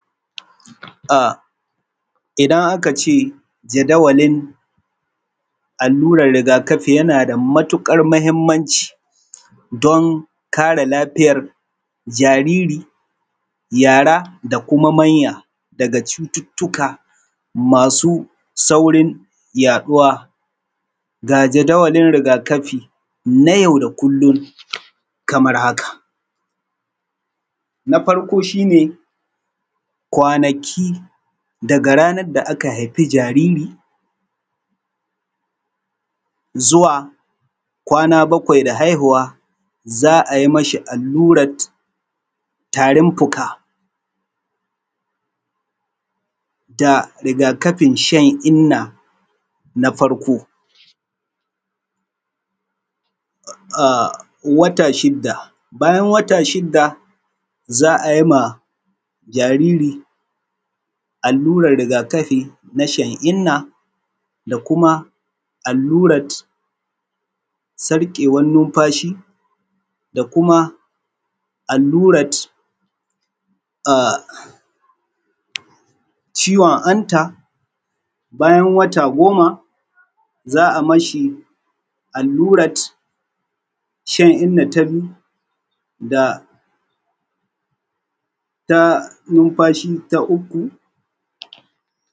Ah idan aka ce jadawalin allurar rigakafi yana da matuƙar muhimmanci don kare lafiyar jariri, yara da kuma manya daga cututtuka masu saurin yaɗuwa. Ga jadawalin rigakafi na yau da kullum kamar haka: Na farko shine kwanaki, daga ranar da aka haifi jariri zuwa kwana bakwai da haihuwa za a yi mashi allurat tarin fuka da rigakafin shan inna na farko. Ahh wata shidda, bayan wata shidda za a yi ma jariri allurar rigakafin na shan inna da kuma allurat sarƙewar numfashi da kuma allurat ciwon hanta. Bayan wata goma za a mashi allurat shan inna ta biyu da ta numfashi ta uku.